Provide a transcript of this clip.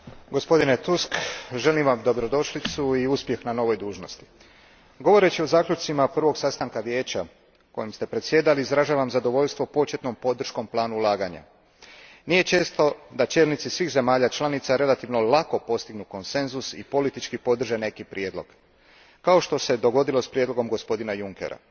Gospodine predsjedniče, gospodine Tusk, želim vam dobrodošlicu i uspjeh na novoj dužnosti. Govoreći o zaključcima prvog sastanka Vijeća kojim ste predsjedali, izražavam zadovoljstvo početnom podrškom planu ulaganja. Nije često da čelnici svih zemalja članica relativno lako postignu konsenzus i politički podrže neki prijedlog, kao što se dogodilo s prijedlogom gospodina Junckera.